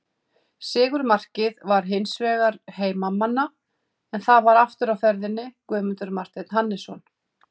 Sigurmarkið var hins vegar heimamanna en þar var aftur á ferðinni Guðmundur Marteinn Hannesson.